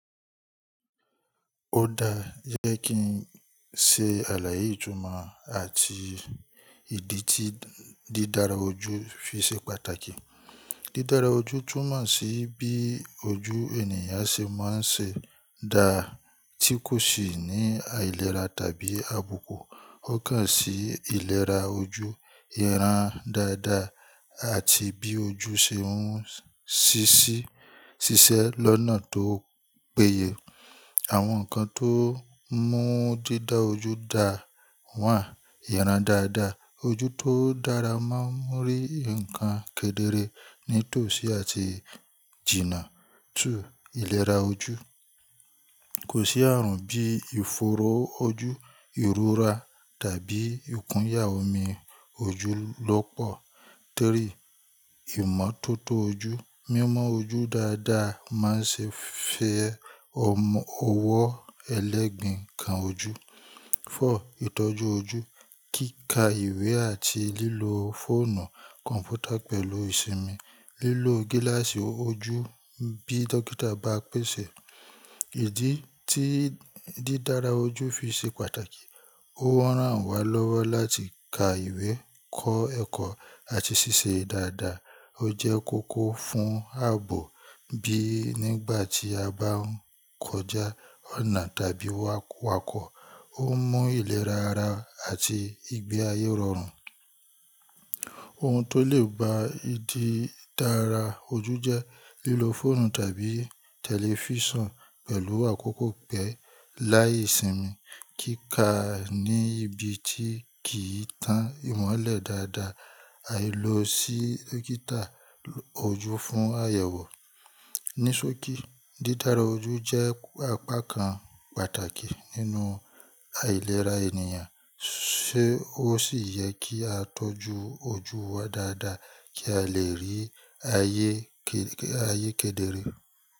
Ó da jẹ́ kí n se àlàyé ìtumọ̀ àti ìdí tí dídára ojú fi ṣe pàtàkì. Dídára ojú túmọ̀ sí bí ojú ènìyàn ṣe máa ń ṣe da tí kò sì ní àìlera tàbí àbùkù. Ó kàn sí ìlera ojú, ìran dáadáa àti bí ojú ṣe ń ṣíṣẹ́ lọ́nà tó péye. Àwọn nǹkan tó mú dídára ojú da one: ìran dáadáa. Ojú tó dára máa ń rí nǹkan kedere nítòsí àti jìnnà. Two, ìlera ojú. Kò sí ààrùn bí ìfòòró ojú, ìrora tàbí ìkúnyà omi ojú lọ́pọ̀. Three, ìmọ́tótó ojú. Mímọ ojú dáadáa máa ń ṣe fẹ́ ọwọ́ ẹlẹ́gìn kan ojú. Four, ìtọ́jú ojú. Kíka ìwé àti lílo fóònù kọ̀ǹpútà pẹ̀lú ìsinmi, lílo gíláàsì ojú bí dókítà bá pèsè. Ìdí tí dídára ojú fi ṣe pàtàkì, ó rán wa lọ́wọ́ láti ka ìwé, kọ́ ẹ̀kọ́ àti ṣiṣẹ́ dáadáa. Ó jẹ́ kókó fún ààbò bí nígbà tí a bá ń kọjá ọ̀nà tàbí wakọ̀. Ó mú ìlera ara àti ìgbé ayé rọrùn. Ohun tó lè ba ìdí dára ojú jẹ́ lílo fóònù tàbí tẹlifíṣàn pẹ̀lú àkókò pẹ́ẹ́ láìsinmi, kíkà níbi tí kì í tán ìmọ́lẹ̀ dáadáa, àìlo sí dókítà ojú fún àyẹ̀wò. Nisoki, dídára ojú jẹ́ apá kan pàtàkì nínú àìlera ènìyàn, ṣé ó sì yẹ kí á tọ́jú ojú wa dáadáa kí a lè rí ayé kedere?